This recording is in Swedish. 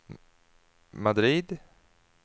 Madrid